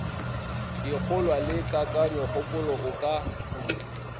dikgolwa le kakanyokgopolo o ka